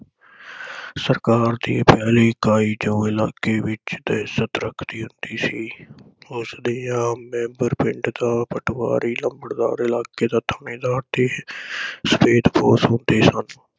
ਸਰਕਾਰ ਦੀ ਪਹਿਲੀ ਇਕਾਈ ਚੋਣ ਇਲਾਕੇ ਵਿਚ ਤੇ ਇਜਤ ਰੱਖਦੀ ਹੁੰਦੀ ਸੀ। ਉਸ ਦੀ ਆਮ ਮੈਂਬਰ ਪਿੰਡ ਦਾ ਪਟਵਾਰੀ, ਲੰਬੜਦਾਰ, ਇਲਾਕੇ ਦਾ ਠਾਣੇਦਾਰ ਤੇ ਸਫੈਦਪੋਸ਼ ਹੁੰਦੇ ਸਨ।